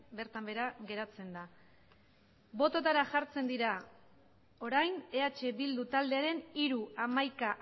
bertan behera geratzen da bototara jartzen dira orain eh bildu taldearen hiru hamaika